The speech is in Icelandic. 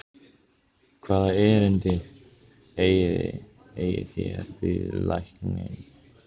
Hvaða erindi eigið þér við lækninn?